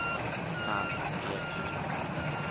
Alf Ekman